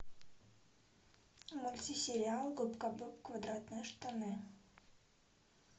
мультсериал губка боб квадратные штаны